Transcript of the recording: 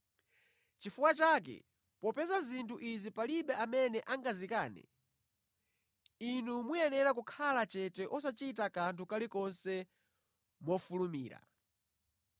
Chifukwa chake popeza zinthu izi palibe amene angazikane, inu mukuyenera kukhala chete osachita kanthu kalikonse mofulumira.